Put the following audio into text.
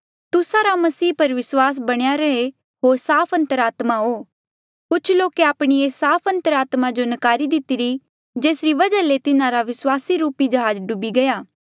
तुस्सा रा मसीह पर विस्वास बणेया रहे होर साफ अंतरात्मा हो कुछ लोके आपणी एस साफ अंतरात्मा जो नकारी दितिरी जेसरी वजहा ले तिन्हारा विस्वास रूपी जहाज डूबी गया